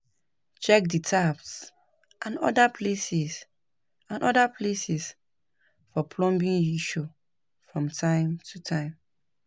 check di taps and oda places and oda places for plumbing issue from time to time